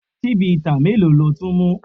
Chivita mélòó ni o ti mu?